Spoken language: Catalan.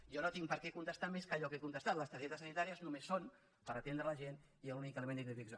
jo no tinc per què contestar més que allò que he contestat les targetes sanitàries només són per atendre la gent i l’únic element d’identificació